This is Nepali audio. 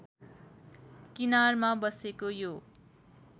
किनारमा बसेको यो